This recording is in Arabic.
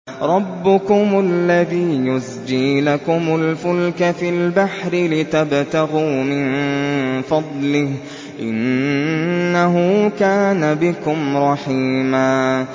رَّبُّكُمُ الَّذِي يُزْجِي لَكُمُ الْفُلْكَ فِي الْبَحْرِ لِتَبْتَغُوا مِن فَضْلِهِ ۚ إِنَّهُ كَانَ بِكُمْ رَحِيمًا